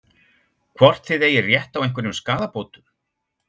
Hvort þið eigið rétt á einhverjum skaðabótum?